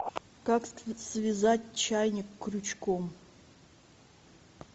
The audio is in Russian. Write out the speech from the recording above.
как связать чайник крючком